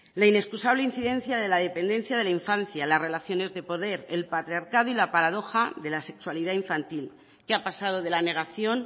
la inexcusable incidencia de la dependencia de la infancia las relaciones de poder el patriarcado y la paradoja de la sexualidad infantil que ha pasado de la negación